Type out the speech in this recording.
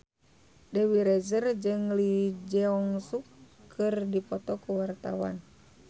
Dewi Rezer jeung Lee Jeong Suk keur dipoto ku wartawan